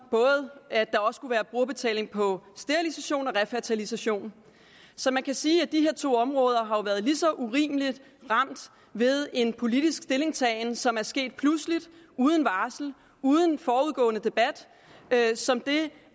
at der også være brugerbetaling på sterilisation og refertilisation så man kan sige at de her to områder har været lige så urimeligt ramt ved en politisk stillingtagen som er sket pludseligt uden varsel uden forudgående debat som det